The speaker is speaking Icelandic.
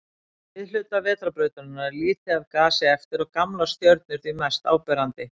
Í miðhluta Vetrarbrautarinnar er lítið af gasi eftir og gamlar stjörnur því mest áberandi.